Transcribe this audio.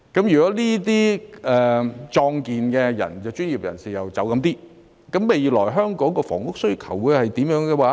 如果部分壯健專業人士離開，香港未來的房屋需求是怎樣呢？